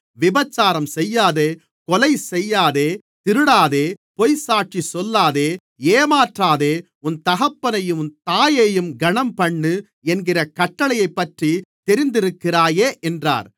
விபசாரம் செய்யாதே கொலை செய்யாதே திருடாதே பொய்ச்சாட்சி சொல்லாதே ஏமாற்றாதே உன் தகப்பனையும் தாயையும் கனம்பண்ணு என்கிற கட்டளைகளைப்பற்றி தெரிந்திருக்கிறாயே என்றார்